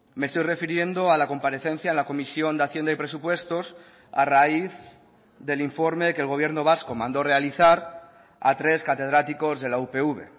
me estoy refiriendo a la comparecencia en la comisión de hacienda y presupuestos a raíz del informe que el gobierno vasco mandó realizar a tres catedráticos de la upv